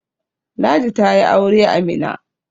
Ladi ta yi aure a Mina